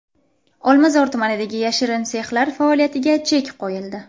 Olmazor tumanidagi yashirin sexlar faoliyatiga chek qo‘yildi.